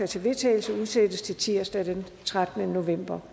til vedtagelse udsættes til tirsdag den trettende november